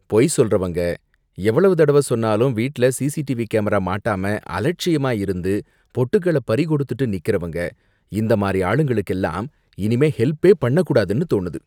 பொய் சொல்றவங்க, எவ்வளவு தடவை சொன்னாலும் வீட்ல சிசிடிவி கேமரா மாட்டாம அலட்சியமா இருந்து பொட்டுக்கள பறிகொடுத்துட்டு நிக்கறவங்க, இந்த மாதிரி ஆளுங்களுக்கெல்லாம் இனிமே ஹெல்பே பண்ண கூடாதுனு தோணுது.